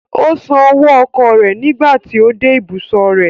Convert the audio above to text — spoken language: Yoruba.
Ó san owó ọkọ̀ rẹ̀ nígbà tí ó dé ìbùsọ̀ rẹ̀.